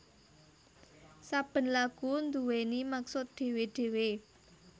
Saben lagu nduwèni maksud dhewe dhewe